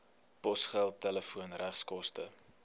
posgeld telefoon regskoste